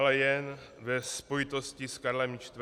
Ale jen ve spojitosti s Karlem IV.